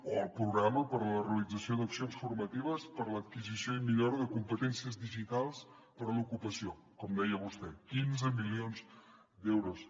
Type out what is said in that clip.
o el programa per a la realització d’accions formatives per a l’adquisició i millora de competències digitals per a l’ocupació com deia vostè quinze milions d’euros